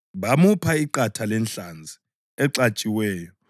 Bamupha iqatha lenhlanzi exatshiweyo,